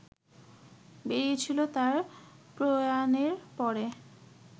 বেরিয়েছিল তাঁর প্রয়াণের পরে